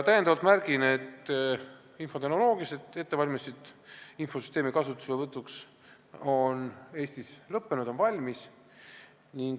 Täiendavalt märgin, et infotehnoloogilised ettevalmistused infosüsteemi kasutuselevõtuks on Eestis lõppenud, kõik on valmis.